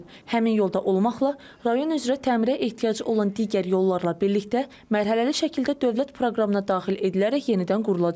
Həmin yolda olmaqla, rayon üzrə təmirə ehtiyacı olan digər yollarla birlikdə mərhələli şəkildə dövlət proqramına daxil edilərək yenidən qurulacaq.